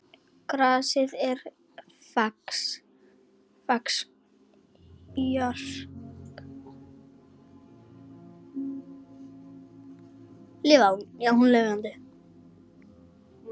Grasið er fax jarðar.